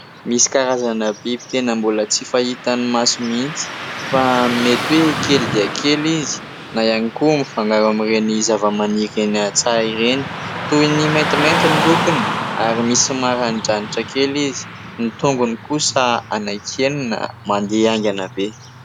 Misy karazana biby tena mbola tsy fahitan'ny maso mihitsy. Fa mety hoe kely dia kely izy na ihany mifangaro amin'ireny zava-maniry eny an-tsaha ireny. Toy ny maintimainty ny lokony ary misy maranidranitra kely izy. Ny tongony kosa anankienina mandeha haingana be.